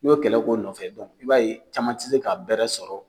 I y'o kɛlɛ ko nɔfɛ dɔn i b'a ye caman tɛ se ka bɛrɛ sɔrɔ